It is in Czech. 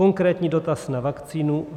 Konkrétní dotaz na vakcínu.